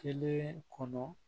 Kelen kɔnɔ